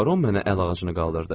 baron mənə əl ağacını qaldırdı.